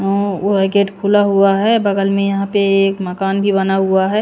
व गेट खुला हुआ है बगल में यहां पे एक मकान भी बना हुआ है।